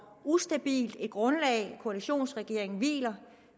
ustabilt et grundlag koalitionsregeringen hviler